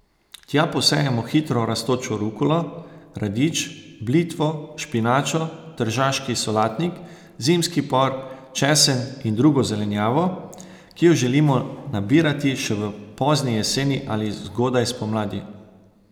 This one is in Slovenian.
Tja posejemo hitro rastočo rukolo, radič, blitvo, špinačo, tržaški solatnik, zimski por, česen in drugo zelenjavo, ki jo želimo nabirati še v pozni jeseni ali zgodaj spomladi.